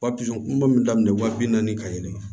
Papizo min daminɛ wa bi naani ka yɛlɛn